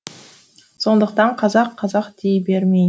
сондықтан қазақ қазақ дей бермей